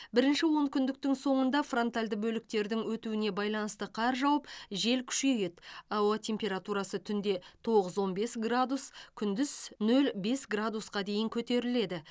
бірінші онкүндіктің соңында фронтальды бөліктердің өтуіне байланысты қар жауып жел күшейеді ауа температурасы түнде тоғыз он бес градус күндіз нөл бес градусқа дейін көтеріледі